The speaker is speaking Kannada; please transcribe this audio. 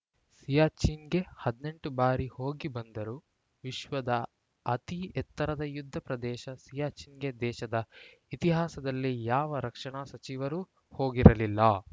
ಸಿಯಾಚಿನ್‌ಗೆ ಹದಿನೆಂಟು ಬಾರಿ ಹೋಗಿ ಬಂದರು ವಿಶ್ವದ ಅತಿ ಎತ್ತರದ ಯುದ್ಧ ಪ್ರದೇಶ ಸಿಯಾಚಿನ್‌ಗೆ ದೇಶದ ಇತಿಹಾಸದಲ್ಲೇ ಯಾವ ರಕ್ಷಣಾ ಸಚಿವರೂ ಹೋಗಿರಲಿಲ್ಲ